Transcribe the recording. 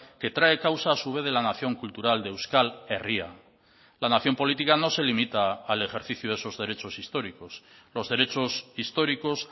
que trae causa a su vez de la nación cultural de euskal herria la nación política no se limita al ejercicio de esos derechos históricos los derechos históricos